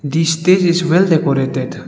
the stage is well decorated.